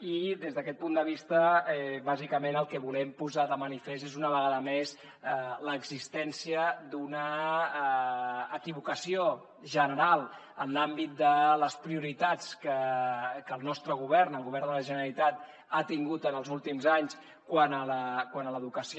i des d’aquest punt de vista bàsicament el que volem posar de manifest és una vegada més l’existència d’una equivocació general en l’àmbit de les prioritats que el nostre govern el govern de la generalitat ha tingut en els últims anys quant a l’educació